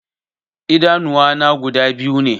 Idanuwa na guda biyu ne